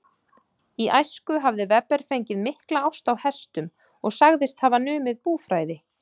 Í æsku hafði Weber fengið mikla ást á hestum og sagðist hafa numið búfræði.